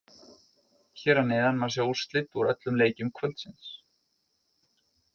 Hér að neðan má sjá úrslit úr öllum leikjum kvöldsins.